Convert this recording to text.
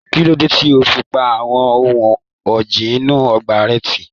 Kí ló dé tí o fi pa àwọn ohun ọ̀gìn inú ọgbà rẹ tì?